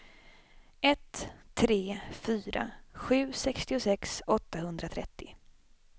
ett tre fyra sju sextiosex åttahundratrettio